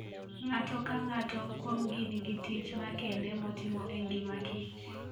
Ng'ato ka ng'ato kuomgi nigi tich makende motimo e ngima kich.